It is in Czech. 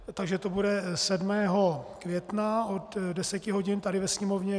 Takže to bude 7. května od 10 hodin tady ve Sněmovně.